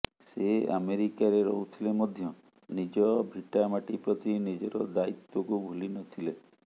ସେ ଆମେରିକାରେ ରହୁଥିଲେ ମଧ୍ୟ ନିଜ ଭିଟା ମାଟି ପ୍ରତି ନିଜର ଦାୟିତ୍ୱକୁ ଭୁଲି ନଥିଲେ